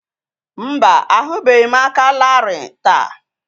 Mba, ahụbeghị m aka larịị taa